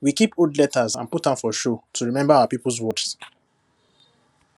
we keep old letters and put am for show to remember our people words